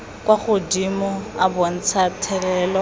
kwa godimo a bontsha thelelo